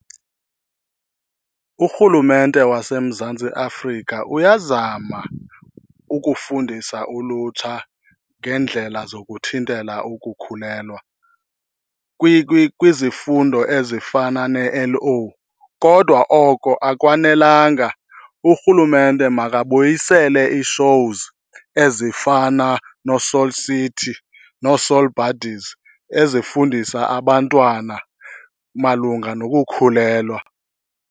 Urhulumente waseMzantsi Afrika uyazama ukufundisa ulutsha ngeendlela zokuthintela ukukhulelwa kwizifundo ezifana neL_O, kodwa oko akwanelanga. Urhulumente makabuyisele ii-shows ezifana no-Soul City noo-Soul Buddyz ezifundisa abantwana malunga nokukhulelwa.